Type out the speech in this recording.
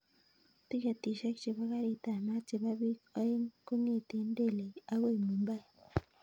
Tiketishek chebo garit ab maat chebo biik oeing kongeten delhi akoi mumbai